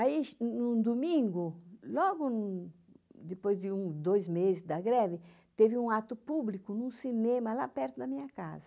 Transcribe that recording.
Aí, num domingo, logo depois de dois meses da greve, teve um ato público num cinema lá perto da minha casa.